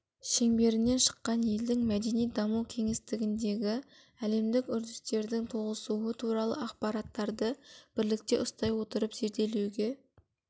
шеңберінен шыққан елдің мәдени даму кеңістігіндегі әлемдік үрдістердің тоғысуы туралы ақпараттарды бірлікте ұстай отырып зерделеуге